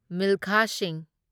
ꯃꯤꯜꯈꯥ Singh